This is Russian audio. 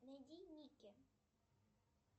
найди ники